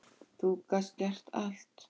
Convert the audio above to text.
Þú gast gert allt.